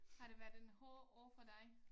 Har det været en hård år for dig?